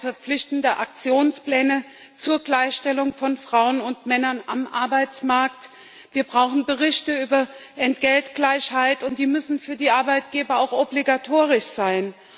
Da brauchen wir verpflichtende Aktionspläne zur Gleichstellung von Frauen und Männern am Arbeitsmarkt, wir brauchen Berichte über Entgeltgleichheit, und die müssen für die Arbeitgeber auch obligatorisch sein.